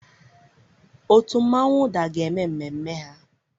Òtù mmonwu ụdar ga-eme n'ememme a.